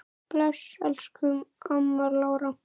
Bless, elsku amma Lára.